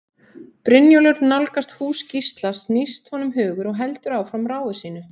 Brynjólfur nálgast hús Gísla snýst honum hugur og heldur áfram ráfi sínu.